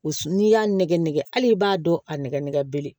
N'i y'a nɛgɛnɛ nɛgɛ ali b'a dɔn a nɛgɛnɛbele